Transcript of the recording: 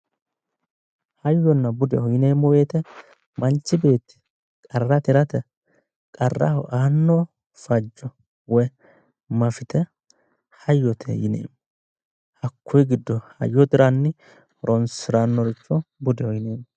Hyayona bude yineemmo woyiite manchi beetti qarra tirate, qarraho aanno fajjo woyi mafite hayyote yinanni. hakkuyi giddo hayyo tiranni horonsirannoricho budeho yineemmo.